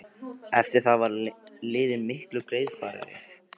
Eftir það var leiðin miklu greiðfærari.